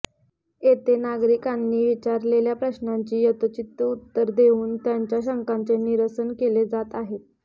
येथे नागरिकांनी विचारलेल्या प्रश्नांची यथोचित उत्तरे देऊन त्यांच्या शंकांचे निरसन केले जात आहेत